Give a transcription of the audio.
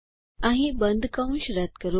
અહીં બંધ કૌસ રદ કરો